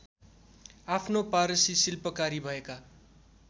आफ्नो पारसी शिल्पकारी भएका